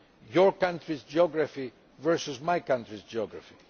your own country's geography versus my country's geography.